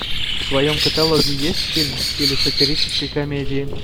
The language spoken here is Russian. в твоем каталоге есть фильм в стиле сатирической комедии